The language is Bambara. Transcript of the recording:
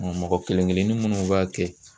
mɔgɔ kelen kelennin minnu b'a kɛ